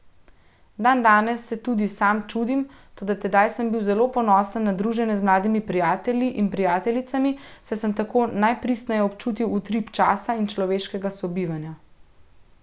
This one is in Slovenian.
Dandanes se tudi sam čudim, toda tedaj sem bil zelo ponosen na druženje z mladimi prijatelji in prijateljicami, saj sem tako najpristneje občutil utrip časa in človeškega sobivanja.